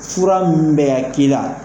Fura minnu bɛ ka k'i la.